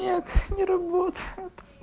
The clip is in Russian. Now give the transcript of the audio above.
нет не работает